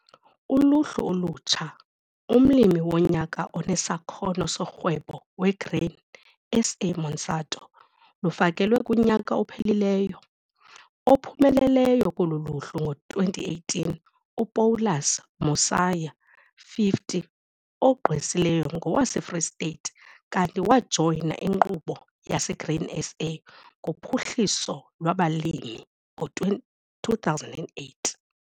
Uluhlu olutsha, umLimi woNyaka oneSakhono soRhwebo weGrain SA - Monsanto, lufakelwe kunyaka ophelileyo. Ophumeleleyo kolu luhlu ngo-2018, uPaulus Mosia, 50, ogqwesileyo ngowaseFree State kanti wajoyina iNkqubo yaseGrain SA ngoPhuhliso lwabaLimi ngo-2008.